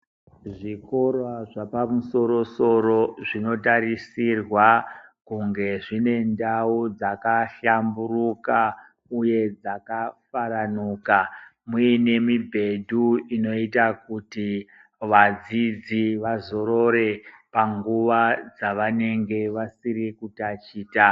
Zvikora zvapamusoro-soro zvinotarisirwa kunge zvine ndau dzakahlamburuka, uye dzakafaranuka muine mibhedhu inoita kuti vadzidzi vazorore panguva dzavanenge vasiri kutachita.